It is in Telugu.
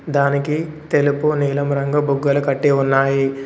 దానికి తెలుపు నీలం రంగు బుగ్గలు కట్టి ఉన్నాయి.